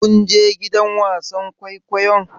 Kun je gidan wasan kwaikwayon?